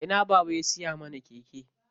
A ina baba ya siya mana keke?